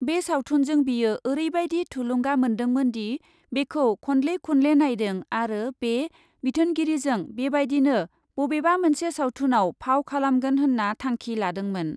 बे सावथुनजों बियो ओरैबायदि थुलुंगा मोन्दोंमोनदि बेखौ खनले खनले नायदों आरो बे बिथोनगिरिजों बेबायदिनो बबेबा मोनसे सावथुनाव फाव खालामगोन होन्ना थांखि लादोंमोन ।